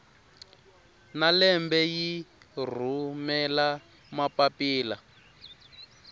na lembe yi rhumela mapapila